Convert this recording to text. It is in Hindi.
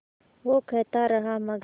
वो कहता रहा मगर